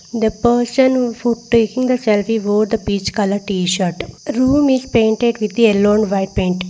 the person who taking the selfie wore the peach colour tshirt room is painted with yellow and white paint.